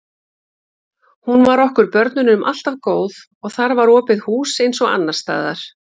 Hún var okkur börnunum alltaf góð og þar var opið hús eins og annars staðar.